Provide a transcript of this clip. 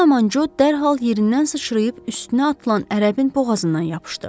Bu zaman Co dərhal yerindən sıçrayıb üstünə atılan ərəbin boğazından yapışdı.